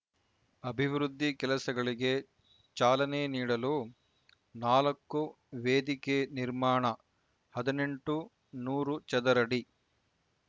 ಅಭಿವೃದ್ಧಿ ಕೆಲಸಗಳಿಗೆ ಚಾಲನೆ ನೀಡಲು ನಾಲ್ಕು ವೇದಿಕೆ ನಿರ್ಮಾಣ ಹದಿನೆಂಟು ನೂರು ಚದರಡಿ